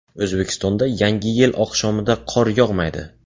O‘zbekistonda Yangi yil oqshomida qor yog‘maydi.